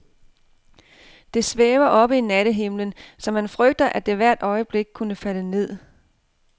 Det svæver oppe i nattehimlen, så man frygter, at det hvert øjeblik kunne falde ned.